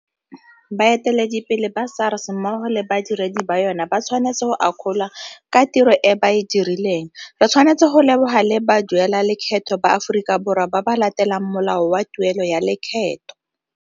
Baeteledipele ba SARS mmogo le badiredi ba yona ba tshwanetswe go akgolwa ka tiro e ba e dirileng. Re tshwanetse go leboga le baduelalekgetho ba Aforika Borwa ba ba latelang molao wa tuelo ya lekgetho.